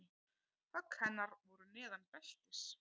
Högg hennar voru neðan beltis.